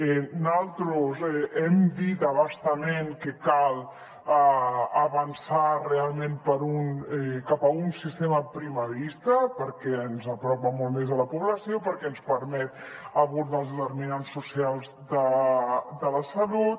naltros hem dit a bastament que cal avançar realment cap a un sistema primarista perquè ens apropa molt més a la població perquè ens permet abordar els determinants socials de la salut